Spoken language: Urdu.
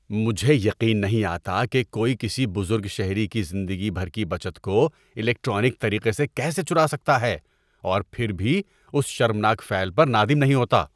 مجھے یقین نہیں آتا کہ کوئی کسی بزرگ شہری کی زندگی بھر کی بچت کو الیکٹرانک طریقے سے کیسے چرا سکتا ہے اور پھر بھی اس شرمناک فعل پر نادم نہیں ہوتا۔